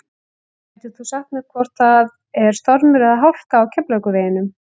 gætir þú sagt mér hvort það er stormur eða hálka á keflavíkurveginum